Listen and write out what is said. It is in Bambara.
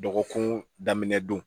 Dɔgɔkun daminɛ don